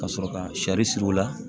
Ka sɔrɔ ka sari siri o la